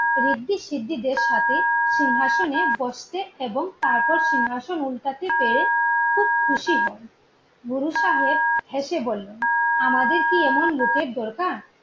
ঋদ্ধি সিদ্ধিদের সাথে সিংহাসনে বসতে এবং তারপর সিংহাসন উল্টাতে পেরে খুব খুশি হন। গুরু সাহেব হেসে বললেন আমাদের কি এমন লোকের দরকার